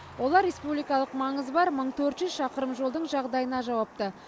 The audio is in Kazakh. олар республикалық маңызы бар мың төрт жүз шақырым жолдың жағдайына жауапты